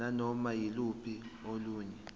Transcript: nanoma yiluphi olunye